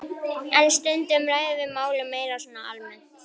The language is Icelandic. En stundum ræðum við málin meira svona almennt.